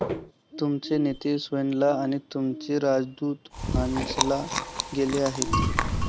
तुमचे नेते सोअनला आणि तुमचे राजदूत हानेसला गेले आहेत.